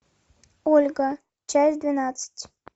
ольга часть двенадцать